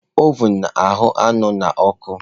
Ovun na-ahụ́ anụ n'ọkụ